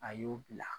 A y'u bila